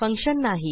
function नाही